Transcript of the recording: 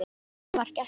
Inn vari gestur